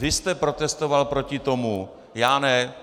Vy jste protestoval proti tomu, já ne.